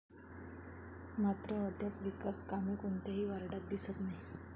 मात्र अद्याप विकास कामे कोणत्याही वार्डात दिसत नाहीत.